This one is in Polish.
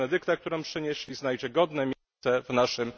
Benedykta, którą przynieśli, znajdzie godne miejsce w naszym...